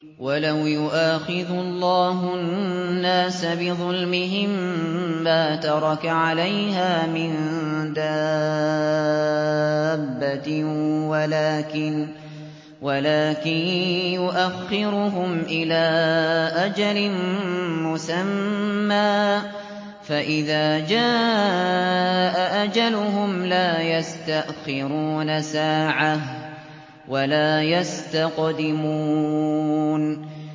وَلَوْ يُؤَاخِذُ اللَّهُ النَّاسَ بِظُلْمِهِم مَّا تَرَكَ عَلَيْهَا مِن دَابَّةٍ وَلَٰكِن يُؤَخِّرُهُمْ إِلَىٰ أَجَلٍ مُّسَمًّى ۖ فَإِذَا جَاءَ أَجَلُهُمْ لَا يَسْتَأْخِرُونَ سَاعَةً ۖ وَلَا يَسْتَقْدِمُونَ